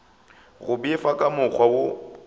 go befa ka mokgwa wo